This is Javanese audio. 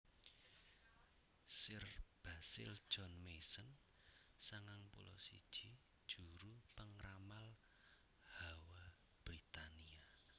Sir Basil John Mason sangang puluh siji juru pangramal hawa Britania